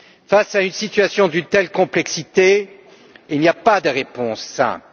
Face à une situation d'une telle complexité, il n'y a pas de réponse simple.